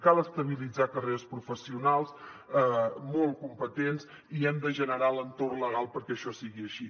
cal estabilitzar carreres professionals molt competents i hem de generar l’entorn legal perquè això sigui així